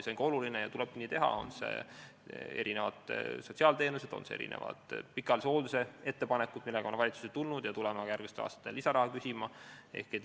See on oluline ja tulebki nii teha: erinevad sotsiaalteenused, pikaajalise hoolduse ettepanekud, mille jaoks on valitsusse tuldud ja tuleme ka järgmistel aastatel lisaraha küsima.